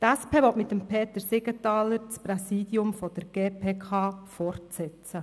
Die SP will mit Peter Siegenthaler das Präsidium der GPK fortsetzen.